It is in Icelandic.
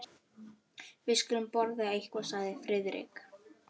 Við skulum borða eitthvað sagði Friðrik.